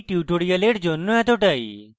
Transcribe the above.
এই tutorial জন্য এতটাই